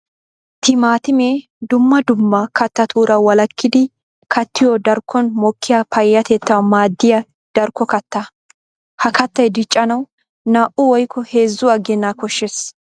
Timaatimme dumma dumma kattatura walakkiddi kattiyo darkkon mokiya payyatettawu maadiya darkko katta. Ha kattay diccanawu naa'u woykko heezzu agina koshees.